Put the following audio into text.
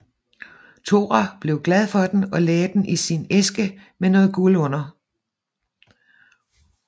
Tora blev glad for den og lagde den i sin æske med noget guld under